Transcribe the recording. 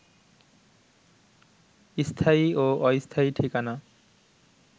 স্থায়ী ও অস্থায়ী ঠিকানা